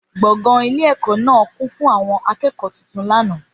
Gbọ̀ngàn ilé ẹ̀kọ́ náà kún fún àwọn akẹ́kọ̀ọ́ tuntun lánàá.